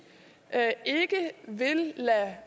ikke vil lade